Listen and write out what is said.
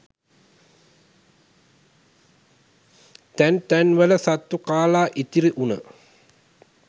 තැන් තැන්වල සත්තු කාලා ඉතිරි වුණ